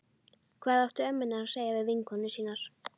Hvað áttu ömmurnar að segja við vinkonur sínar?